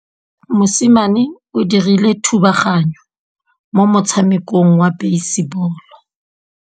Mosimane o dirile thubaganyô mo motshamekong wa basebôlô.